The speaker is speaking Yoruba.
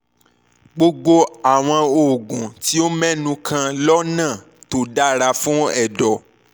gbogbo àwọn oògùn tí o mẹ́nu kàn lọ́nà tó dára fún ẹ̀dọ̀